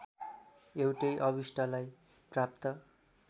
एउटै अभिष्टलाई प्राप्त